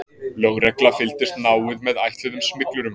Lögregla fylgdist náið með ætluðum smyglurum